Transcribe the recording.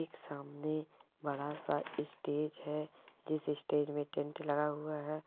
एक सामने बड़ा-सा इस्टेज है जिस इस्टेज में टेंट लगा हुआ है।